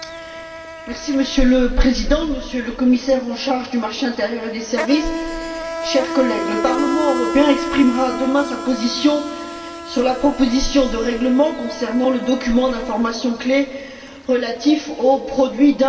Monsieur le Président, Monsieur le Commissaire en charge du marché intérieur et des services, chers collègues, le Parlement européen exprimera demain sa position sur la proposition de règlement concernant le document d'information clé relatif aux produits d'investissement.